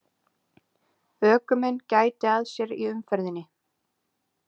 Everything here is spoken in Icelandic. Ökumenn gæti að sér í umferðinni